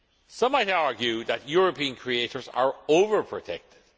Some might argue that European creators are over protected.